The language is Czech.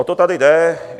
O to tady jde.